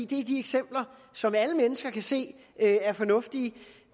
de eksempler som alle mennesker kan se er fornuftige